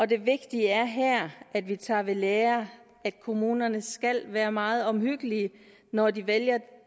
det vigtige er her at vi tager ved lære kommunerne skal være meget omhyggelige når de vælger